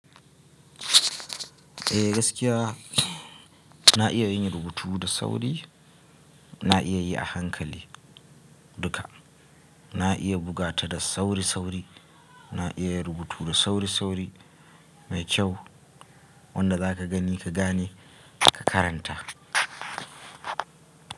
Eh gaskiya na iya yin rubutu da sauri, na iya yi a hankali duka. Na iya bugata da sauri sauri, na iya rubutu da sauri sauri mai kyau wanda za ka gani ka gane ka karanta.